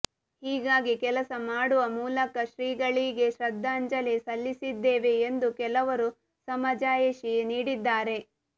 ಹೀಗಾಗಿ ಕೆಲಸ ಮಾಡುವ ಮೂಲಕ ಶ್ರೀಗಳಿಗೆ ಶ್ರದ್ಧಾಂಜಲಿ ಸಲ್ಲಿಸಿದ್ದೇವೆ ಎಂದು ಕೆಲವರು ಸಮಜಾಯಿಷಿ ನೀಡಿದ್ದಾರೆ